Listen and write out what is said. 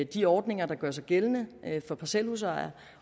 de ordninger der gør sig gældende for parcelhusejere